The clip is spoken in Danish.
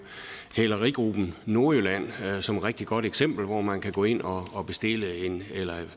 hælerigruppen nordjylland som et rigtig godt eksempel på at man kan gå ind og